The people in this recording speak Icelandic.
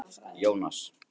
Jónas